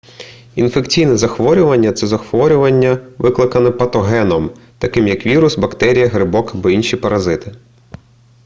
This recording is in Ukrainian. інфекційне захворювання це захворювання викликане патогеном таким як вірус бактерія грибок або інші паразити